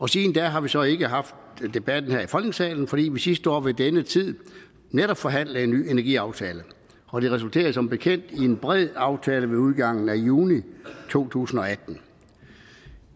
siden da har vi så ikke haft debatten her i folketingssalen fordi vi sidste år ved denne tid netop forhandlede en ny energiaftale og det resulterede som bekendt i en bred aftale ved udgangen af juni to tusind